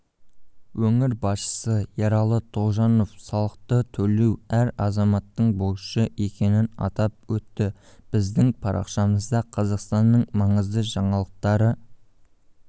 өңір басшысы ералы тоғжанов салықтытөлеу әр азаматтың борышы екенін атап өтті біздің парақшамызда қазақстанның маңызды жаңалықтары